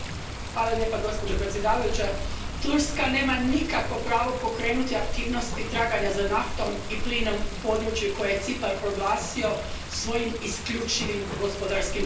Poštovana predsjedavajuća, Turska nema nikakvo pravo pokrenuti aktivnosti traganja za naftom i plinom u području koje je Cipar proglasio svojim isključivim gospodarskim pojasom.